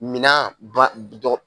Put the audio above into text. Minan ba dɔgɔ